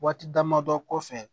Waati dama dɔ kɔfɛ